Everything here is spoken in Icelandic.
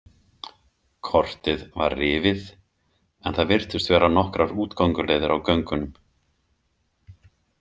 Kortið var rifið en það virtust vera nokkrar útgönguleiðir á göngunum.